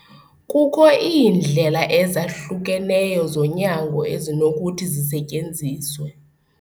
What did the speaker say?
Kukho iindlela ezahlukeneyo zonyango ezinokuthi zisetyenziswe.